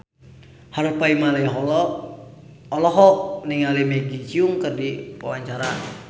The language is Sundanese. Harvey Malaiholo olohok ningali Maggie Cheung keur diwawancara